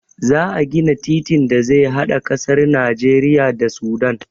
Za a gina titin da zai hada ƙasar Najeriya da Sudan.